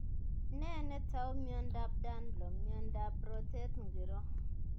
Nee netau miondap danlo, miondap rotet ngiro